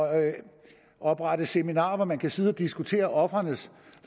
oprette seminarer hvor man kan sidde og diskutere ofrenes